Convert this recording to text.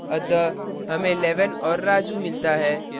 अतः हमें 11 और raju मिलता है